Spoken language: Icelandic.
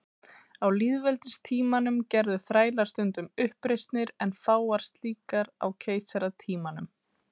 Á lýðveldistímanum gerðu þrælar stundum uppreisnir en fáar slíkar á keisaratímanum.